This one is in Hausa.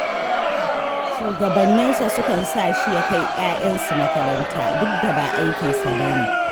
Shugabanninsa sukan sa shi ya kai 'ya'yansu makaranta, duk da ba aikinsa ba ne.